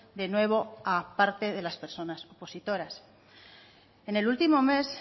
de nuevo a parte de las personas opositoras en el último mes